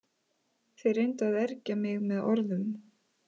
Þeir reyndu að ergja mig með orðum.